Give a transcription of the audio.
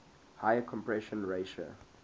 higher compression ratio